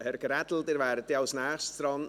Herr Grädel, Sie wären dann als Nächster dran.